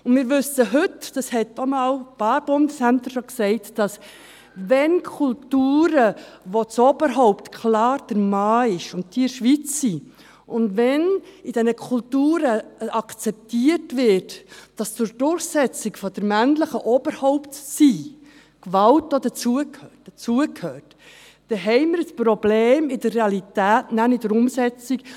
Wir wissen heute, das haben auch schon einige Bundesämter gesagt: Wenn Kulturen, wo das Oberhaupt klar der Mann ist und diese in der Schweiz leben – und wenn in diesen Kulturen akzeptiert wird, dass für die Durchsetzung des männlichen Oberhaupt-Seins auch Gewalt dazugehört –, haben wir in der Realität Probleme mit der Umsetzung.